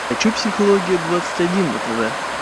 хочу психология двадцать один на тв